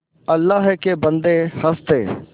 अल्लाह के बन्दे हंस दे